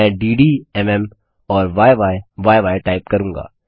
मैं डिड म् और य्यी टाइप करूँगा